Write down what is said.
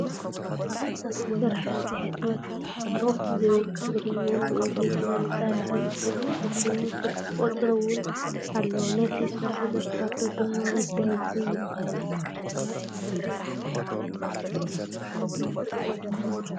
ስራሕቲ ሕትመት ሆፕ ዝብል ብትግርኛን ብኢንግሊዘኛን ብፃዕዳ ሕብሪ ዝተፅሓፈ ኮይኑ ስልኪ ቁፅሪ እውን ኣሎ ነቱይ ስራሕ ዘካርዶ ድማ ወዲ ዕቡይ ይብሃል።